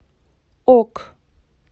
ок